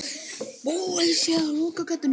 Búið sé að loka gatinu.